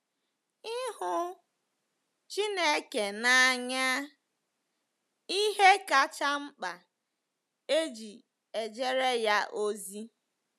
Ịhụ Chineke n’anya—Ihe kacha mkpa e ji ejere ya ozi.